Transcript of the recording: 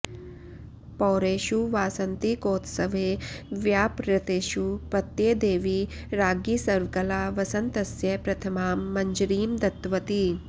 पौरेषु वासन्तिकौत्सवे व्यापृतेषु पत्यै देवी राज्ञी सर्वकला वसन्तस्य प्रथमां मञ्जरीं दत्तवती